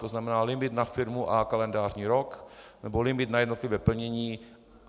To znamená limit na firmu a kalendářní rok nebo limit na jednotlivé plnění.